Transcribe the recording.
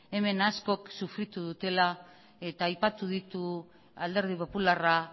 hemen askok sofritu dutela eta aipatu ditu alderdi popularra